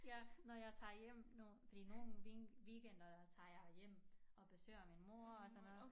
Jeg når jeg tager hjem når fordi nogen weekenderne tager jeg hjem og besøger min mor og sådan noget